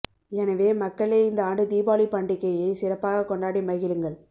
எனவே மக்களே இந்த ஆண்டு தீபாவளி பண்டிகையை சிறப்பாக கொண்டாடி மகிழுங்கள்